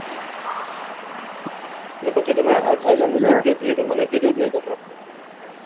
ને પછી તમે થાયલેન્ડ ગયા તા એતો મને કીધું જ ની તમે